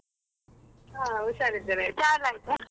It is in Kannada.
ಹಾ ಉಷಾರಿದ್ದೇನೆ, ಚಾ ಎಲ್ಲ ಆಯ್ತಾ?